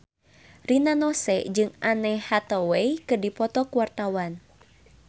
Rina Nose jeung Anne Hathaway keur dipoto ku wartawan